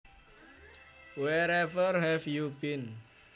Wherever have you been